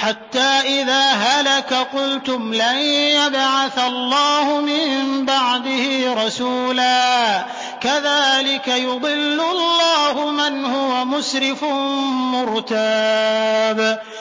حَتَّىٰ إِذَا هَلَكَ قُلْتُمْ لَن يَبْعَثَ اللَّهُ مِن بَعْدِهِ رَسُولًا ۚ كَذَٰلِكَ يُضِلُّ اللَّهُ مَنْ هُوَ مُسْرِفٌ مُّرْتَابٌ